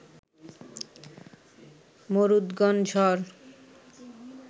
মরুদ্গণ ঝড়